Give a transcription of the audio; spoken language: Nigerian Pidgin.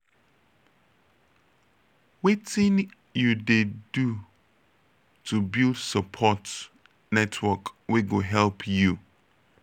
wetin you dey do to build support network wey go dey help you?